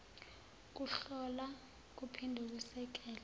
kuhlola kuphinde kusekele